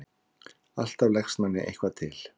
Alltaf leggst manni eitthvað til.